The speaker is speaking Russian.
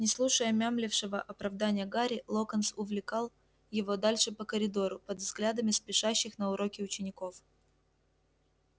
не слушая мямлившего оправдания гарри локонс увлекал его дальше по коридору под взглядами спешащих на уроки учеников